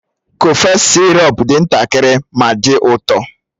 Kọfex sirop dị ntakịrị ma dị ụtọ